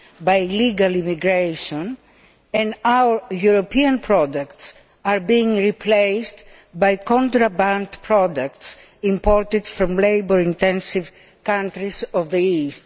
by illegal immigration and our European products are being replaced by contraband products imported from labour intensive countries in the East?